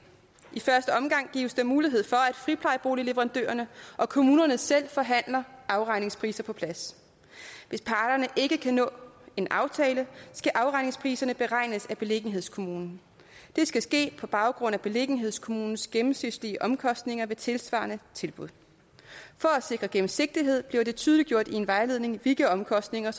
i første omgang gives der mulighed for at friplejeboligleverandørerne og kommunerne selv forhandler afregningspriser på plads hvis parterne ikke kan nå en aftale skal afregningspriserne beregnes af beliggenhedskommunen det skal ske på baggrund af beliggenhedskommunens gennemsnitlige omkostninger ved tilsvarende tilbud for at sikre gennemsigtighed bliver det tydeliggjort i en vejledning hvilke omkostninger